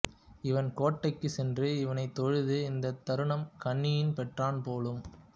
இவன் கோட்டைக்குச் சென்று இவனைத் தொழுது இந்தத் தாரும் கண்ணியும் பெற்றான் போலும்